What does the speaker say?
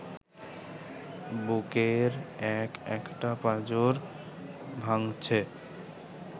বুকের এক-একটা পাঁজর ভাঙছে